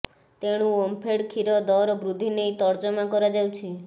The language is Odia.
ତେଣୁ ଓମଫେଡ୍ କ୍ଷୀର ଦର ବୃଦ୍ଧି ନେଇ ତର୍ଜମା କରାଯାଉଛି